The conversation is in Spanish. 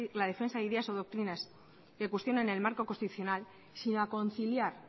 la defensa de ideas o doctrinas que cuestionan el marco constitucional sino a conciliar